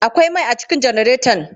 Akwai mai a cikin janaretan?